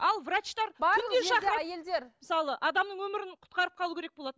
ал врачтар күнде шақырады әйелдер мысалы адамның өмірін құтқарып қалу керек болады